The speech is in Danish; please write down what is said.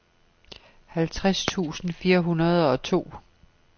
halvtreds tusind fire hundrede og to